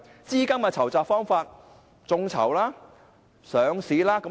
資金的籌集方法包括眾籌和上市。